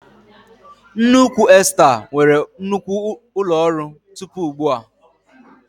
Nneukwu Esta nwere nnukwu ụlọ ọrụ tupu ugbu a.